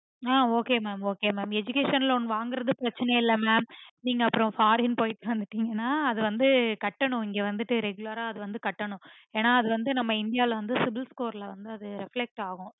ஆஹ் okay mam educational loan வாங்கறது பிரச்சனைல mam நீங்க அப்புறம் foreign போயிட்டு வந்துட்டீங்கன்னா அது வந்து கட்டணும் இங்க வந்து regular ஆ அது வந்து கட்டணும் என்ன அது வந்து நம்ப இந்தியால cibilscoreaffect ஆகும்